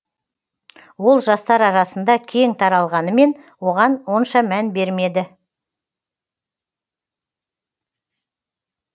ол жастар арасында кең таралғанымен оған онша мән бермеді